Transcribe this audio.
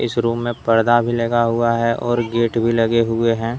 इस रूम मे पर्दा भी लगा हुआ है। और गेट भी लगे हुए है।